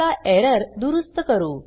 चला एरर दुरुस्त करू